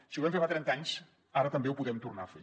si ho vam fer fa trenta anys ara també ho podem tornar a fer